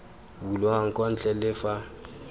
bulwang kwa ntle le fa